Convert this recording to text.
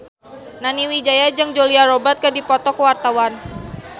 Nani Wijaya jeung Julia Robert keur dipoto ku wartawan